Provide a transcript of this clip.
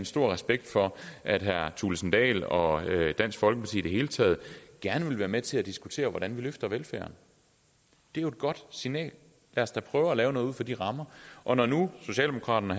stor respekt for at herre kristian thulesen dahl og dansk folkeparti i det hele taget gerne vil være med til at diskutere hvordan vi løfter velfærden det er jo et godt signal lad os da prøve at lave noget ud fra de rammer og når nu socialdemokraterne